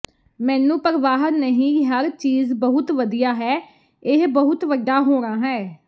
ਮੈਨੂੰ ਪਰਵਾਹ ਨਹੀਂ ਹਰ ਚੀਜ਼ ਬਹੁਤ ਵਧੀਆ ਹੈ ਇਹ ਬਹੁਤ ਵੱਡਾ ਹੋਣਾ ਹੈ